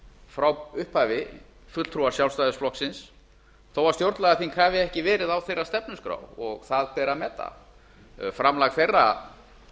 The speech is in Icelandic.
frá upphafi fulltrúar sjálfstæðisflokksins þó stjórnlagaþing hafi ekki verið á þeirra stefnuskrá það ber að meta framlag þeirra